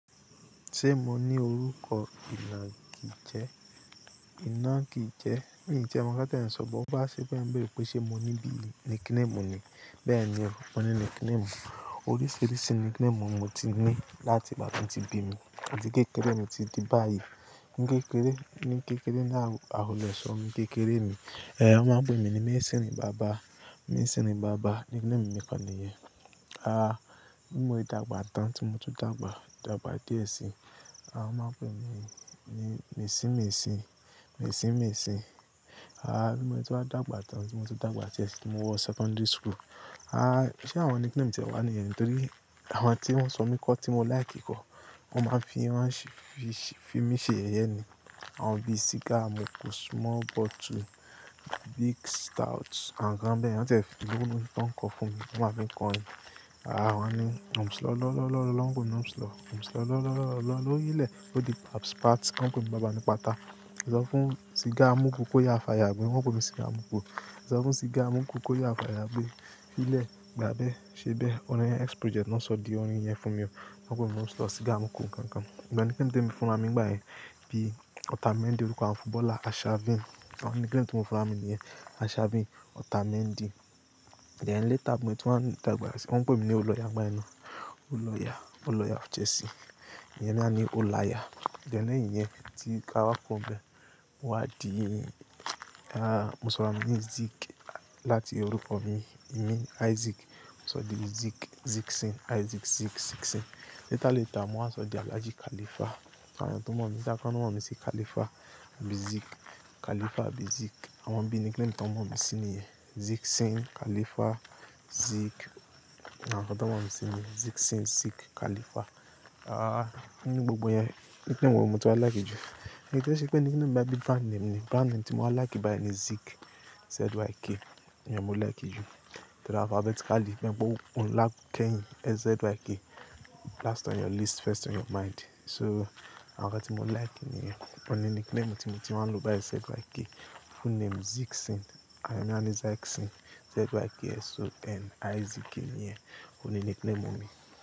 Ṣé mo ní orúkọ ìnàgì jẹ? Ìnàgì jẹ, mi te mọ̀ ká tí ẹ̀yin sọ̀, bó bá ṣe pé ẹ̀yin béèrè pé ṣé mo ní bí nickname mi ni. Bẹ́ẹ̀ ni oo, mo ní nickname mi. Oríṣiríṣi nickname mo ti ní láti ìgbà tí mo ti bi mí títí kékeré mi títí dé báyìí. Ní kékeré, ní kékeré náà, àwọn olùṣọ mi kékeré mi, ẹ́, wọ́n máa ń pè mí ní Mésìnì bàbá. Mésìnì bàbá nickname mi kan nìyẹn. Aá, bí mo rí dàgbà tán tí mo ti dàgbà, dàgbà díẹ̀ si, a máa ń pè mí ní Mèsí-mèsí, Mèsí-mèsí. Aá, bí mo ti wá dàgbà tán tí mo ti dàgbà díẹ̀ sí tí mo wọ secondary school. Aá, ṣé àwọn nickname jẹ́ wà ní yẹni? Nítorí àwọn tí wọ́n sọ mí kọ́ tí mo like kọ́, wọ́n máa ń fi wọ́n ṣe, fi mí ṣe yẹye ni. Àwọn bíi Cigar Mukú, Small Bottle, Big Stout, àwọn nǹkan bẹ́ẹ̀. Wọ́n tẹ́ le lorin tí wọ́n ń kọ fún mi, wọ́n máa ń fi ń kọrin. Aá, wọ́n ní Ọ̀msi lọ́ lọ́ lọ́ lọ́ lọ́, wọ́n ń pe ni i Ọ̀msilo Ọ̀msọ lọ́ lọ́ lọ́ lọ́ lọ́, lórí ilẹ̀ ó di paps pat, wọ́n ń pe mi Baba ni pata. Ọlọ́fún Cigar Mukú kó yá fàyà gbé, wọ́n ń pe mi Cigar Mukú. Ọlọ́fún Cigar Mukú kó yá fàyà gbé. Ilẹ̀ gba abẹ́, ṣe bẹ́ẹ̀? Ó ní ẹ́, X Project ló ń sọ di orin yẹn fún mi o. Wọ́n pè mi Ọ̀msi, Cigar Mukú nǹkan nǹkan. Ìgbà tí kí n dé mi fúnra mi nígbà yẹn bí Otamendi orúkọ àwọn footballer Arshavin. Àwọn nickname tí wọ́n fúnra mi ni Arshavin, Otamendi. Then later bi tun wan dàgbà si, wọ́n ń pe mi ní Old lawyer nigba yen na Olóya, Olóya Chelsea. Ìyẹn ni a ní Olayà. Then, leyin yen tí ká wá kọ̀ro ní bẹ́ẹ̀, mo wa di, aá, mo sọra mi ní Zik láti orúkọ mi, mi Isaac. Mo sọ di Zik, Ziksin, Isaac, Zik, Ziksin. Later later, mowa sọ di, allaji Khalifa. Àwọn tọ̀ ma mi either, kan maa mi sí Khalifa, bi Zik, Khalifa, bi Zik. Àwọn bíi nickname tí àwọn maa mi sin ni yen. Ziksin, Khalifa, Zik. Àwọn ọ̀tọ̀ méwàá mi sin ni Ziksin, Zik, Khalifa. Aá, ní gbogbo yẹn nickname wo mo ti wá like jù? Kí ó ṣe pé nickname máa ń bí brand name ni. Brand name tí mo wá like báyìí ni Zik, Z-Y-K. Ìyẹn mo like jù. Torí alphabetically, mẹ́wàá gbọ́, o ń lá kẹ́yìn, Z-Y-K. Last on your list, first on your mind. So, àwọn tí mo like niyen, ọ̀ni nickname tí mo tun má ń lo báyìí Z-Y-K. Full name Ziksin. Àwọn mi a ní Zaksin. Z-Y-K-S-O-N, Isaac nìyẹn. Òun ni nickname mi.